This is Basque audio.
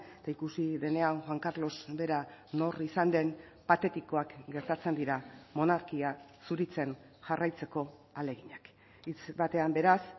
eta ikusi denean juan carlos bera nor izan den patetikoak gertatzen dira monarkia zuritzen jarraitzeko ahaleginak hitz batean beraz